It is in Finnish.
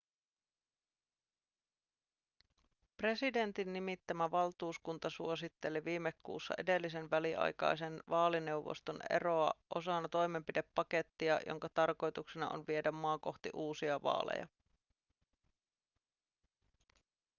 presidentin nimittämä valtuuskunta suositteli viime kuussa edellisen väliaikaisen vaalineuvoston eroa osana toimenpidepakettia jonka tarkoituksena on viedä maa kohti uusia vaaleja